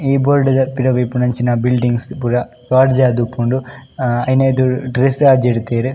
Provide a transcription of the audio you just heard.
ಈ ಬೋರ್ಡ್ ದ ಪಿರವು ಇಪ್ಪುನಂಚಿನ ಬಿಲ್ಡಿಂಗ್ಸ್ ಪುರ ಲೋಡ್ಜ್ ಆದಿಪ್ಪುಂಡು ಅ ಐನ ಎದುರು ಡ್ರೆಸ್ಸ್ ಆಜಿಡ್ದೆರ್.